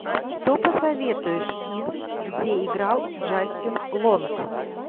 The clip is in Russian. что посоветуешь из где играл джастин лонг